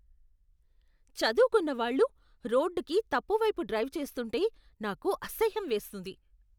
చదువుకున్నవాళ్ళు రోడ్డుకి తప్పువైపు డ్రైవ్ చేస్తుంటే నాకు అసహ్యం వేస్తుంది.